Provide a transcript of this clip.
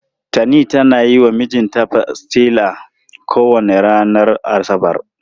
Tani tana yi wa mijinta pastilla kowane ranar asabar.